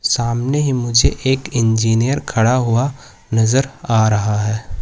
सामने ही मुझे एक इंजीनियर खड़ा हुआ नजर आ रहा हैं।